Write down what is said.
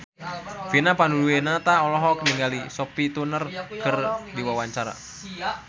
Vina Panduwinata olohok ningali Sophie Turner keur diwawancara